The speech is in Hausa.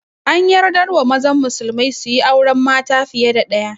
An yardar wa mazan musulmai suyi auren mata fiye da ɗaya